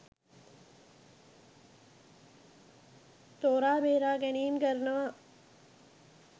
තෝරා බේරාගැනීම් කරනවා?